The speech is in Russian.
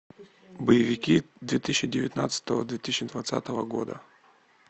боевики две тысячи девятнадцатого две тысячи двадцатого года